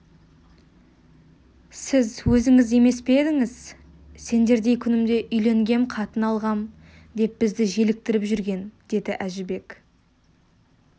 сіз өзіңіз емес пе едіңіз сендердей күнімде үйленгем қатын алғам деп бізді желіктіріп жүрген деді әжібек